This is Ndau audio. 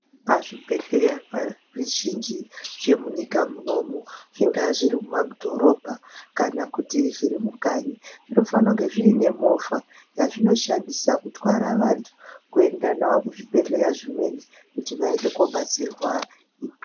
Pazvibhedhlera zvizhinji zvemunyika munomu, zvinga zvirimumadhorobha, kana kuti zvirimukanyi zvofana kunge zvine mova yazvinoshandise kuthwala vantu kuenda nawo kuzvibhedhlera zvimweni kuti vayende kobatsirwa.